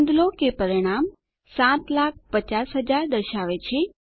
નોંધ લો કે પરિણામ 750000 દર્શાવે છે